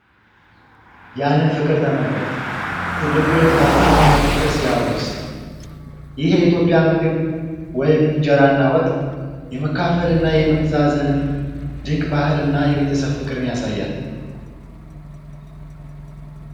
ያንን ፍቅር ተመልከት! ትልቁ ልጅ ታናሹን በፍቅር ሲያጎርስ! ይህ የኢትዮጵያ ምግብ (እንጀራና ወጥ) የመካፈልና የመተዛዘንን ድንቅ ባህልና የቤተሰብ ፍቅርን ያሳያል!